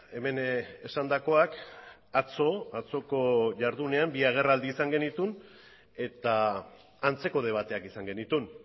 hemen esandakoak atzo atzoko jardunean bi agerraldi izan genituen eta antzeko debateak izan genituen